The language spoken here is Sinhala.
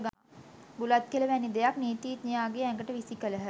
බුලත් කෙළ වැනි දෙයක් නීතිඥයාගේ ඇඟට විසි කළහ.